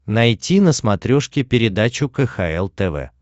найти на смотрешке передачу кхл тв